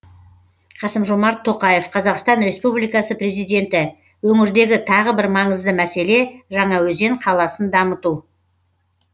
қасым жомарт тоқаев қазақстан республикасы президенті өңірдегі тағы бір маңызды мәселе жаңаөзен қаласын дамыту